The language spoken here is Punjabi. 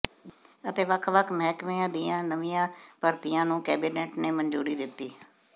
ਅਤੇ ਵੱਖ ਵੱਖ ਮਹਿਕਮਿਆਂ ਦੀਆਂ ਨਵੀਆਂ ਭਰਤੀਆਂ ਨੂੰ ਕੈਬਨਿਟ ਨੇ ਮੰਨਜੂਰੀ ਦਿੱਤੀ